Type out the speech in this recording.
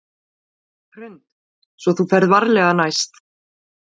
Hrund: Svo þú ferð varlega næst?